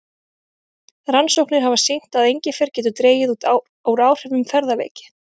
Rannsóknir hafa sýnt að engifer getur dregið úr áhrifum ferðaveiki.